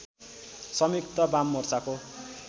सङ्युक्त वाममोर्चाको